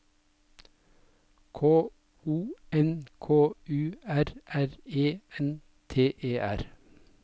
K O N K U R R E N T E R